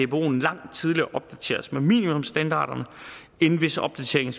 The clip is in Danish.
dboen langt tidligere opdateres med minimumsstandarderne end hvis opdateringen